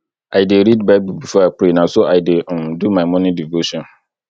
i dey read bible before i pray na so i dey um do my morning devotion